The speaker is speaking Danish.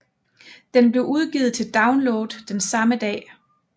Den blev udgivet til download den samme dag